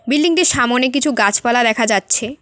বিল্ডিংটির সামোনে কিছু গাছপালা দেখা যাচ্ছে।